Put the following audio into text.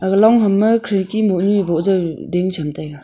aga long ham ma khidki moh nu ee boh zau ding cham taiga.